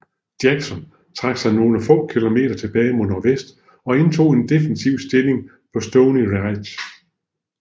Jackson trak sig nogle få kilometer tilbage mod nordvest og indtog en defensiv stilling på Stony Ridge